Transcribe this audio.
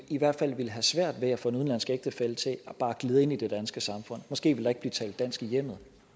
i hvert fald ville have svært ved at få en udenlandsk ægtefælle til bare at glide ind i det danske samfund måske ville der ikke blive talt dansk i hjemmet